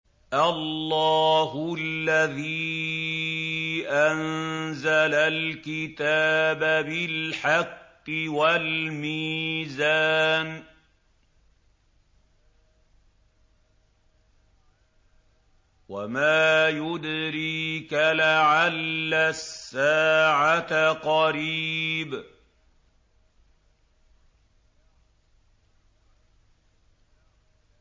اللَّهُ الَّذِي أَنزَلَ الْكِتَابَ بِالْحَقِّ وَالْمِيزَانَ ۗ وَمَا يُدْرِيكَ لَعَلَّ السَّاعَةَ قَرِيبٌ